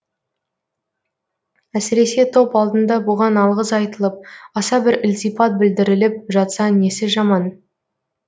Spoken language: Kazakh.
әсіресе топ алдында бұған алғыс айтылып аса бір ілтипат білдіріліп жатса несі жаман